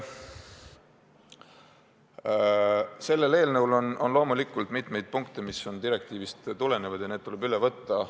Selles eelnõus on loomulikult mitmeid punkte, mis tulenevad direktiivist, ja need tuleb üle võtta.